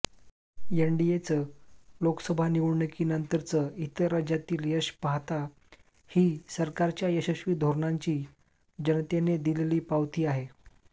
एनडीएचं लोकसभा निवडणुकीनंतरचं इतर राज्यातील यश पाहता ही सरकारच्या यशस्वी धोरणांची जनतेने दिलेली पावती आहे